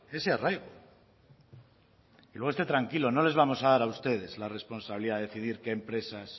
ese arraigo luego esté tranquilo no les vamos a dar ustedes la responsabilidad de decidir qué empresas